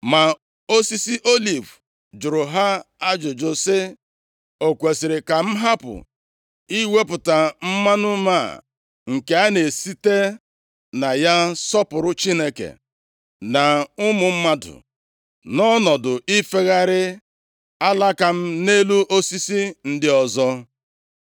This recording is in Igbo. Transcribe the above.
“Ma osisi oliv jụrụ ha ajụjụ sị, ‘O kwesiri ka m hapụ iwepụta mmanụ m a nke a na-esite na ya sọpụrụ Chineke + 9:9 chi dị iche iche, nke bụ nʼebe o metụtara ndị nʼefe arụsị na ụmụ mmadụ, nọọ ọnọdụ ifegharị alaka m nʼelu osisi ndị ọzọ?’